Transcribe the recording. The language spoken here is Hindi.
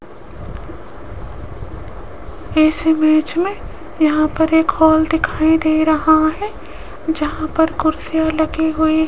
इस इमेज में यहां पर एक हॉल दिखाई दे रहा है जहां पर कुर्सियां लगी हुई--